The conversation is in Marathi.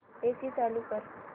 एसी चालू कर